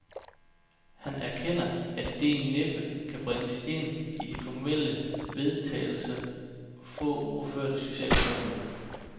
Han erkender, at idéen næppe kan bringes ind i de formelle vedtagelser få uger før det sociale topmøde.